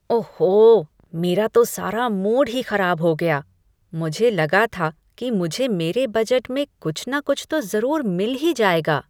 ओहो, मेरा तो सारा मूड ही खराब हो गया। मुझे लगा था कि मुझे मेरे बजट में कुछ ना कुछ तो ज़रूर मिल ही जाएगा।